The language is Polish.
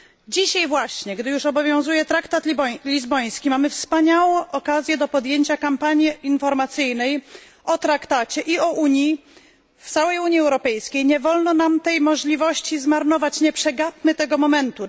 Dzisiaj właśnie, gdy już obowiązuje traktat lizboński mamy wspaniałą okazję do podjęcia kampanii informacyjnej o traktacie i o Unii. W całej Unii Europejskiej nie wolno nam tej możliwości zmarnować, nie przegapmy tego momentu.